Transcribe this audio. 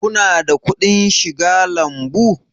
Ku na da kuɗin shiga lambu?